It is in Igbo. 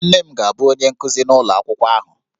Nne m ga-abụ onye nkuzi n'ụlọ akwụkwọ ahụ